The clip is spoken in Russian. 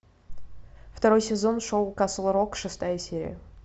второй сезон шоу касл рок шестая серия